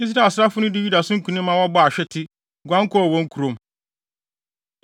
Israel asraafo dii Yuda so nkonim ma wɔbɔɔ ahwete, guan kɔɔ wɔn kurom.